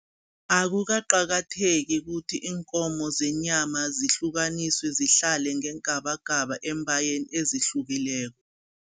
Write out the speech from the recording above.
Akukaqakatheki ukuthi iinkomo zenyama zihlukaniswe, zihlale ngeengabagaba eembayeni ezihlukileko.